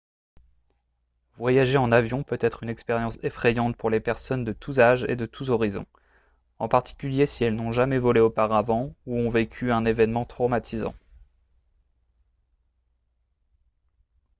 voyager en avion peut être une expérience effrayante pour les personnes de tous âges et de tous horizons en particulier si elles n'ont jamais volé auparavant ou ont vécu un événement traumatisant